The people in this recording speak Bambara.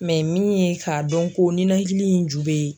min ye k'a dɔn ko ninɛkili in ju bɛ ye